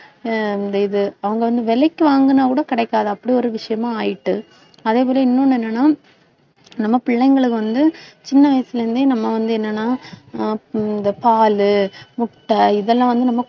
ஆஹ் அந்த இது அவங்க வந்து விலைக்கு வாங்கினால் கூட கிடைக்காது. அப்படியொரு விஷயமா ஆயிட்டு. அதே போல இன்னொன்னு என்னன்னா, நம்ம பிள்ளைங்களுக்கு வந்து சின்ன வயசுல இருந்தே நம்ம வந்து என்னன்னா ஆஹ் இந்த பால், முட்டை இதெல்லாம் வந்து நம்ம